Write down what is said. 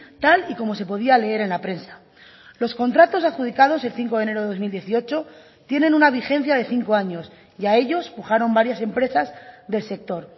tal y como se podía leer en la prensa los contratos adjudicados el cinco de enero de dos mil dieciocho tienen una vigencia de cinco años y a ellos pujaron varias empresas del sector